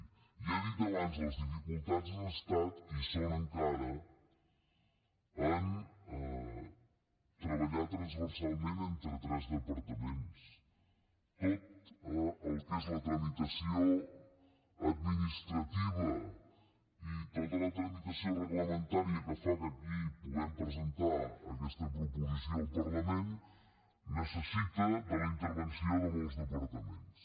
i ja ho he dit abans les dificultats han estat i són encara en treballar transversalment entre tres departaments tot el que és la tramitació administrativa i tota la tramitació reglamentària que fa que aquí puguem presentar aquesta proposició al parlament necessita la intervenció de molts departaments